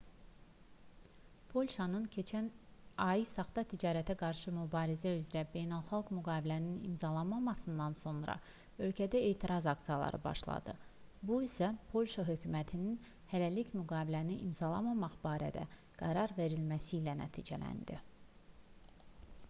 polşanın keçən ay saxta ticarətə qarşı mübarizə üzrə beynəlxalq müqaviləni imzalamasından sonra ölkədə etiraz aksiyaları başladı bu isə polşa hökumətinin hələlik müqaviləni imzalamamaq barədə qərar verməsi ilə nəticələndi